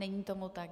Není tomu tak.